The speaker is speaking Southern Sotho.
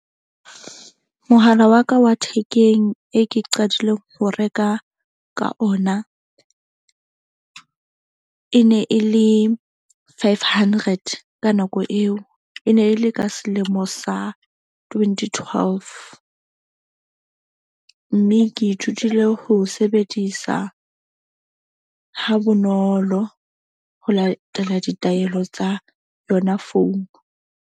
Mohala wa ka wa thekeng e ke qadileng ho reka ka ona. E ne e le five hundred, ka nako eo, e ne e le ka selemo sa twenty twelve. Mme ke ithutile ho sebedisa ha bonolo ho latela ditaelo tsa yona phone.